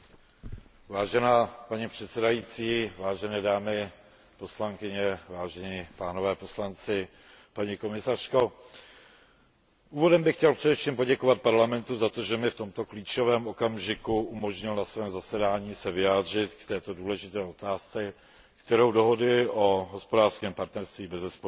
Vážená paní předsedající, vážené dámy poslankyně, vážení pánové poslanci, paní komisařko, úvodem bych chtěl především poděkovat Parlamentu za to, že mi v tomto klíčovém okamžiku umožnil na svém zasedání se vyjádřit k této důležité otázce, kterou dohody o hospodářském partnerství bezesporu jsou.